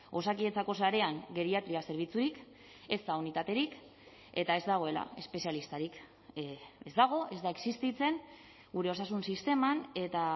osakidetzako sarean geriatria zerbitzurik ezta unitaterik eta ez dagoela espezialistarik ez dago ez da existitzen gure osasun sisteman eta